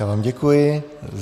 Já vám děkuji.